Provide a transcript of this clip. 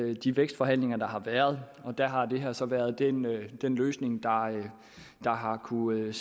af de vækstforhandlinger der har været og der har det her så været den den løsning der har kunnet